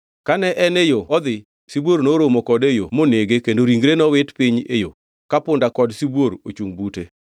Kane en e yore odhi, sibuor noromo kode e yo monege kendo ringe nowit piny e yo, ka punda kod sibuor ochungʼ bute.